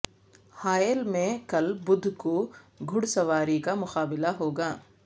حائل میں کل بدھ کو گھڑ سواری کا مقابلہ ہوگا